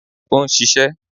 O ń ṣiṣẹ́.